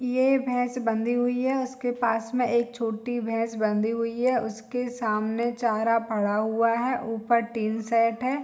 ये भैंस बंधी हुई है उसके पास में एक छोटी भैंस बंधी हुई है उसके सामने चारा पड़ा हुआ है ऊपर टीन सेट है।